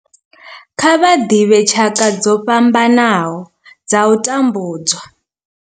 Kha vha ḓivhe tshaka dzo fhambanaho dza u tambudzwa.